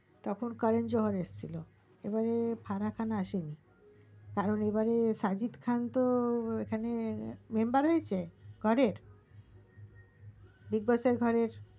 তখন করোন জোহার এসেছিলো এবারে ফারাখান আছেনি কারণ এবারে সাজিত খান তো এখান member হয়েছে ঘরে bigboss ঘরে